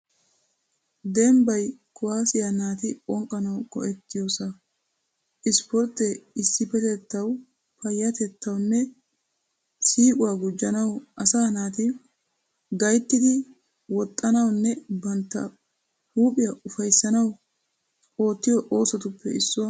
Dembbay kuwaasiya naati bonqqanawu go'ettiyoosa. Issippoorttee issippetettawu payyaatettawunne siiquwaa gujjanawu asaa naati gayittidi woxxanawunne bantta huuphiya ufayissanawu oottiyo oosotuppe issuwa.